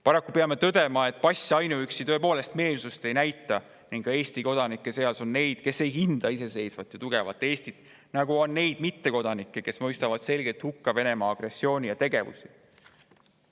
Paraku peame tõdema, et ainuüksi pass tõepoolest meelsust ei näita, sest ka Eesti kodanike seas on neid, kes ei hinda iseseisvat ja tugevat Eestit, ja on selliseid mittekodanikke, kes mõistavad selgelt hukka Venemaa agressiooni ja tegevusi.